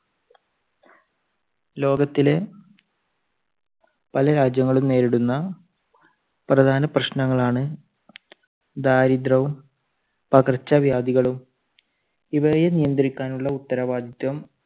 ലോകത്തിലെ പല രാജ്യങ്ങളും നേരിടുന്ന പ്രധാന പ്രശ്നങ്ങളാണ് ദാരിദ്രവും, പകർച്ചവ്യാധികളും. ഇവയെ നിയന്ത്രിക്കാനുള്ള ഉത്തരവാദിത്യം